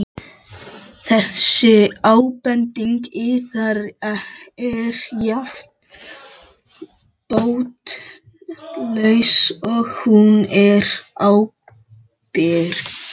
Þessi ábending yðar er jafn botnlaus og hún er ábyrgðarlaus.